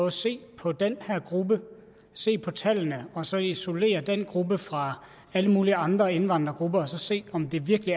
at se på den her gruppe se på tallene og så isolere den gruppe fra alle mulige andre indvandrergrupper og så se om det virkelig